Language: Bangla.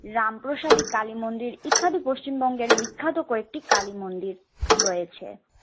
রামপ্রসাদী কালীমন্দির ইত্যাদি পশ্চিমবঙ্গের বিখ্যাত কয়েকটি কালীমন্দির রয়েছে।